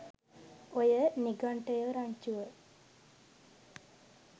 ඔය නිඝන්ටයෝ රංචුව